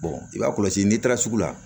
i b'a kɔlɔsi n'i taara sugu la